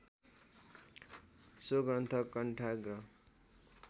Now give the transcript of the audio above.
so ग्रन्थ कण्ठाग्र